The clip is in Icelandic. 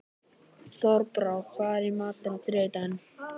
Þorbrá, hvað er í matinn á þriðjudaginn?